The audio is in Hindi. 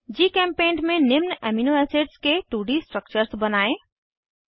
जीचेम्पेंट में निम्न अमीनो एसिड्स के 2डी स्ट्रक्चर्स बनायें